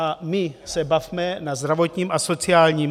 A my se bavme na zdravotním a sociálním...